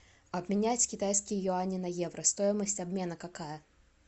обменять китайские юани на евро стоимость обмена какая